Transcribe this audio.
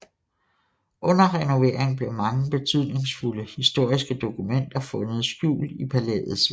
Under renovering blev mange betydningsfulde historiske dokumenter fundet skjult i palæets vægge